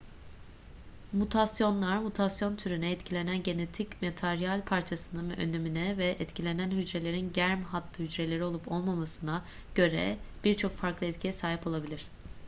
mutasyonlar mutasyon türüne etkilenen genetik materyal parçasının önemine ve etkilenen hücrelerin germ hattı hücreleri olup olmamasına göre bir çok farklı etkiye sahip olabilir